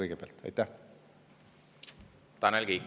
Tanel Kiik, palun!